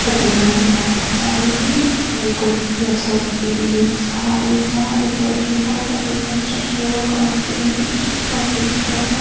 heti lai hmunah hian chuanin hei kut hnathawk hi insa insaa inhlawh thin ho pahnih construction worker an tih ang hi pahnih an awm a.